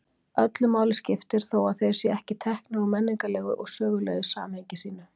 Öllu máli skiptir þó að þeir séu ekki teknir úr menningarlegu og sögulegu samhengi sínu.